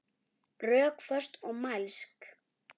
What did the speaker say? Rökföst og mælsk.